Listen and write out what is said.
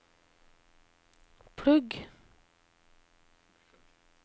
plugg